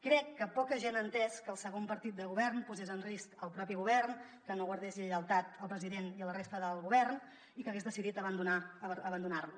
crec que poca gent ha entès que el segon partit de govern posés en risc el propi govern que no guardés lleialtat al president i a la resta del govern i que hagués decidit abandonar lo